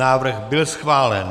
Návrh byl schválen.